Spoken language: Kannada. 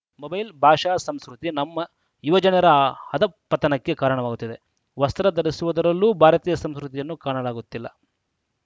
ಮೊಬೈಲ್‌ ಭಾಷಾ ಸಂಸ್ಕೃತಿ ನಮ್ಮ ಯುವಜನರ ಅಧಃಪತನಕ್ಕೆ ಕಾರಣವಾಗುತ್ತಿದೆ ವಸ್ತ್ರ ಧರಿಸುವುದರಲ್ಲೂ ಭಾರತೀಯ ಸಂಸ್ಕೃತಿಯನ್ನು ಕಾಣಲಾಗುತ್ತಿಲ್ಲ